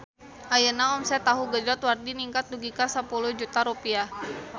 Ayeuna omset Tahu Gejrot Wardi ningkat dugi ka 10 juta rupiah